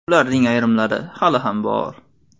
Ularning ayrimlari hali ham bor.